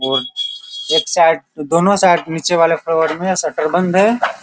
और एक साइड दोनो साइड नीचे वाले फ्लोर में शटर बंद है।